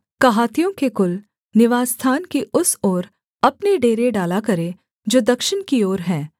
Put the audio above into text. कहातियों के कुल निवासस्थान की उस ओर अपने डेरे डाला करें जो दक्षिण की ओर है